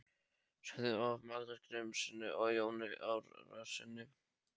Söfnuð af Magnúsi Grímssyni og Jóni Árnasyni.